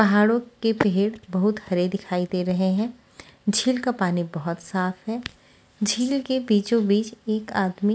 पहाड़ो के पेड़ बहुत हरे दिखई दे रहे हैं झील का पानी बोहोत साफ है झील के बीचो-बीच एक आदमी--